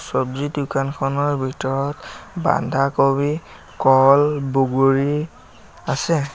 চৱজি দোকানখনৰ ভিতৰত বান্ধা কবি কল বগৰী আছে।